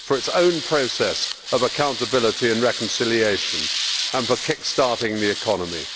for its own process of accountability and reconciliation and for kick starting the economy.